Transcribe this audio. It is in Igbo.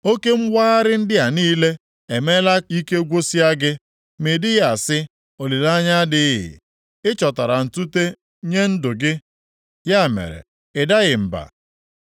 Oke mwagharị ndị a niile emeela ike gwụsịa gị, ma ị dịghị asị, ‘Olileanya adịghị.’ Ị chọtara ntute nye ndụ gị, ya mere, na ị daghị mba.